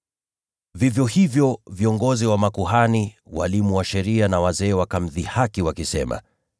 Vivyo hivyo, viongozi wa makuhani, walimu wa sheria pamoja na wazee wakamdhihaki wakisema,